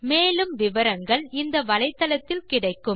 மேற்கொண்டு விவரங்கள் வலைத்தளத்தில் கிடைக்கும்